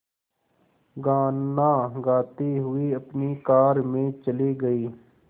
गाना गाते हुए अपनी कार में चले गए